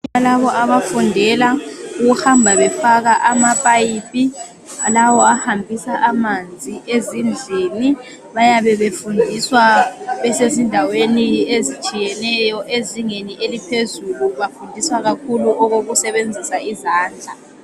Abantu labo abafundela ukuhamba befaka amaphayiphi lawo ahambisa amanzi ezindlini bayabe befundiswa besezindaweni ezitshiyeneyo ezingeni eliphezulu. Bafundiswa kakhulu okokusebenzisa izandla.